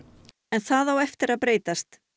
en það á eftir að breytast